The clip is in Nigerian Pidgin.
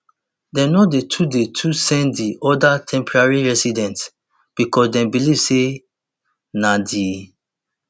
dem no dey too dey too send di oda temporary residents becos dem believe say na di